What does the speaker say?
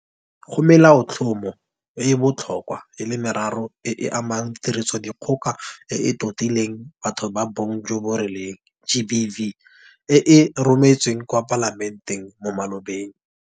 Go Melaotlhomo e e botlhokwa e le meraro e e amanang le Tirisodikgoka e e Totileng Batho ba Bong jo bo Rileng, GBV, e e rometsweng kwa Palamenteng mo malobeng.